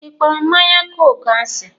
Ị kpọrọ mmanya kooku asi?